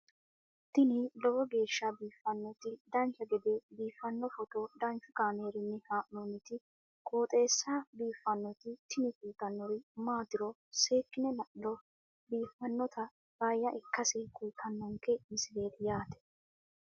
tini lowo geeshsha biiffannoti dancha gede biiffanno footo danchu kaameerinni haa'noonniti qooxeessa biiffannoti tini kultannori maatiro seekkine la'niro biiffannota faayya ikkase kultannoke misileeti yaate